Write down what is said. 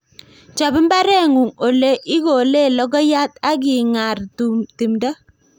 Chop mbaren'ung' ole ikolee logoiyat ak igar timdo